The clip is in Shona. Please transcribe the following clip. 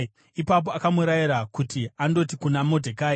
Ipapo akamurayira kuti andoti kuna Modhekai,